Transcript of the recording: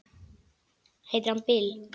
Heitir hann Bill?